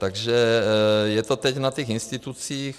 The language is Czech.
Takže je to teď na těch institucích.